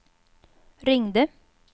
ringde